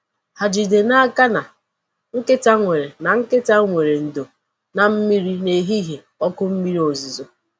Ha jide n'aka na nkịta nwere na nkịta nwere ndò na mmiri n’ehihie oku mmiri ozuzo.